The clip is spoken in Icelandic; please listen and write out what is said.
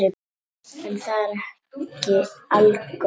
En það er ekki algott.